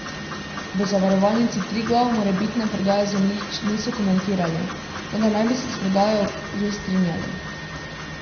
V Zavarovalnici Triglav morebitne prodaje zemljišč niso komentirali, vendar naj bi se s prodajo že strinjali.